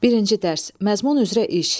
Birinci dərs: məzmun üzrə iş.